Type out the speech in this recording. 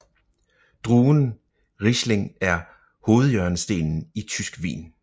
Druen riesling er hovedhjørnestenen i tysk vin